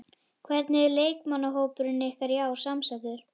Hvernig er leikmannahópurinn ykkar í ár samsettur?